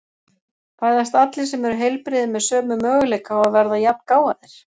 Fæðast allir sem eru heilbrigðir með sömu möguleika á að verða jafngáfaðir?